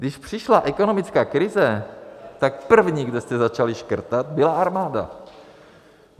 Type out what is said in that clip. Když přišla ekonomická krize, tak první, kde jste začali škrtat, byla armáda.